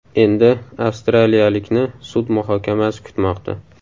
Endi avstraliyalikni sud muhokamasi kutmoqda.